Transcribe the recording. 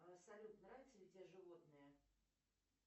салют нравятся ли тебе животные